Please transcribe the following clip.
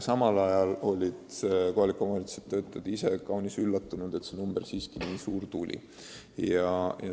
Samal ajal olid aga kohaliku omavalitsuse töötajad kaunis üllatunud, et see number nii suur tuli.